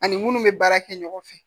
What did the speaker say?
Ani munnu bɛ baara kɛ ɲɔgɔn fɛ